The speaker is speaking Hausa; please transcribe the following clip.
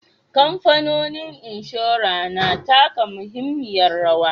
Kamfanonin inshora na taka muhimmiyar rawa.